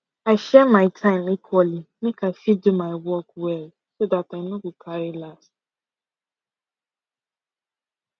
i share my time equally make i fit do my work well so that i no go carry last